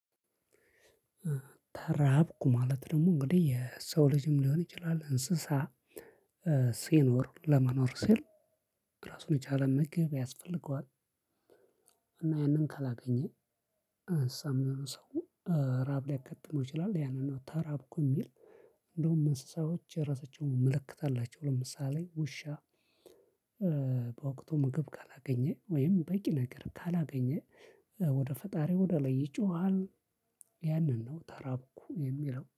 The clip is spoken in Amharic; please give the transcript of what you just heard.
ተራብኩ ማለት ደግሞ እንግዲህ የሰው ልጅም ሊሆን ይችላል እንስሳ ሲኖር ለመኖር ሲል እራሱን የቸለ ምግብ ያስፈልገዋል። እና ያንን ካለገኘ እንስሳም ሆነ ሰው። ረሀብ ልያገጥመው ይችለል የንን ነው ተራብኩ የምል እንድሁም እንስሳዎውች የራሳቸው ምልክት አላቸው ለምሳሌ ውሻ። በወቅቱ ምግብ ካላገኘ ወይም በቂ ነገር ካላገኘ ወደ ፈጣሪው ወደ ላይ ይጮሃል። ያንን ነው ተራብኩ የሚለው